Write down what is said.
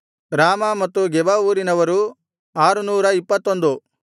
ರಾಮಾ ಮತ್ತು ಗೆಬ ಊರಿನವರು 621